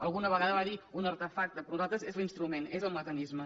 alguna vegada va dir un artefacte per nosaltres és l’instrument és el mecanisme